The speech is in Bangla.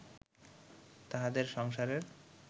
তাঁহাদের সংসারের